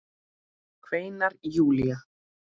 kveinar Júlía.